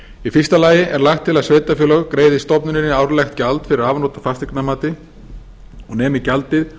í fyrsta lagi er lagt til að sveitarfélög greiði stofnuninni árlegt gjald fyrir afnot af fasteignamati og nemi gjaldið